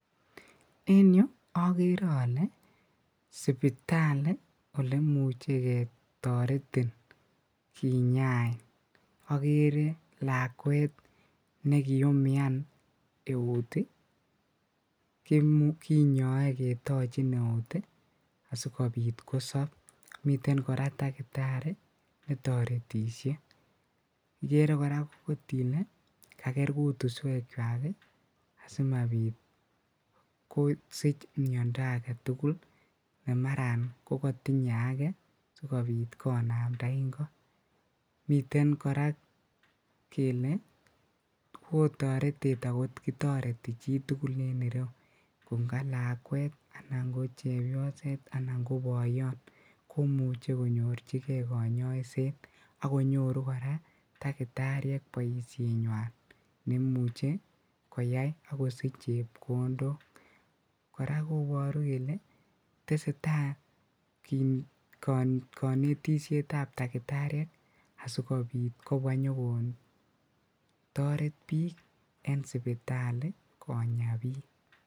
En yu akere ale sipitali ole muche ketoretin kinyain, akere lakwet ne kiumian eut ii, kinyoe ketochin eut ii asi kobit kosop, miten kora dakitari netoretisie, ikere kora ile kaker kutuswechwak ii asi mabit kosich miondo ake tugul ne maran ko katinye ake si kobit konamda ingo. Miten kora kele oo toretet akot kitoreti chi tugul en ireu, ko nga lakwet anan ko chepyoset anan ko boiyon, komuchi konyorchigei kanyoiset ak konyoru kora dakitariek boisienywan nemuchi koyai ak kosich chepkondok. Kora koboru kele tesetai kanetisietab dakitariek asi kobit kobwa nyokotoret piik en sipitali konya piik.